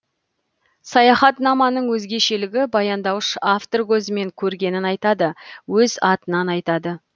саяхатнаманың өзгешелігі баяндаушы автор көзімен көргенін айтады өз атынан айтады